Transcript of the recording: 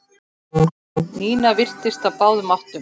Nína virtist á báðum áttum.